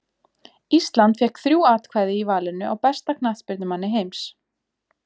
Ísland fékk þrjú atkvæði í valinu á besta knattspyrnumanni heims.